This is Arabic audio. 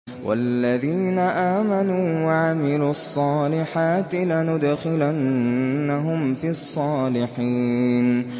وَالَّذِينَ آمَنُوا وَعَمِلُوا الصَّالِحَاتِ لَنُدْخِلَنَّهُمْ فِي الصَّالِحِينَ